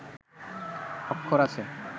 অক্ষর আছে